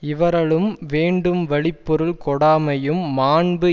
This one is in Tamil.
இவறலும் வேண்டும்வழிப் பொருள் கொடாமையும் மாண்பு